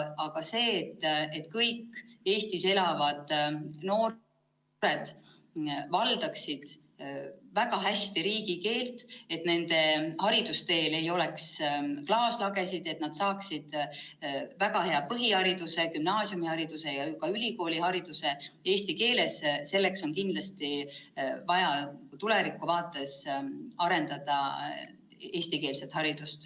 Aga selleks, et kõik Eestis elavad noored valdaksid väga hästi riigikeelt, et nende haridusteel ei oleks klaaslagesid ning et nad saaksid eesti keeles väga hea põhihariduse, gümnaasiumihariduse ja ka ülikoolihariduse, on tulevikku vaadates kindlasti vaja arendada eestikeelset haridust.